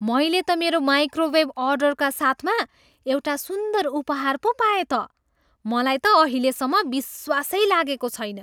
मैले त मेरो माइक्रोवेभ अर्डरका साथमा एउटा सुन्दर उपहार पो पाएँ त। मलाई त अहिलेसम्म विश्वासै लागेको छैन।